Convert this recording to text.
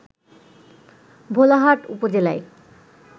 ভোলাহাট উপজেলায়